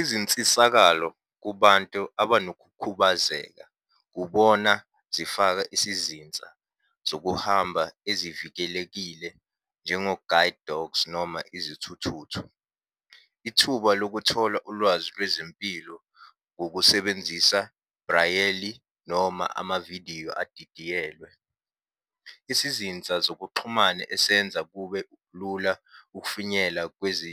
Izinsisakalo kubantu abanokukhubazeka ubona zifaka isizinsa zokuhamba ezivikelekile njengo-guide dogs noma izithuthuthu. Ithuba lokuthola ulwazi lwezempilo ngokusebenzisa, rayeli noma amavidiyo edidiyelwe. Isizinsa zokuxhumana esenza kube lula ukufinyela kwezi